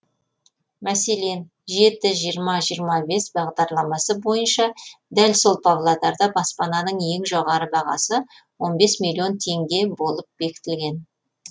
мәселен жеті жиырма жиырма бес бағдарламасы бойынша дәл сол павлодарда баспананың ең жоғары бағасы он бес миллион теңге болып бекітілген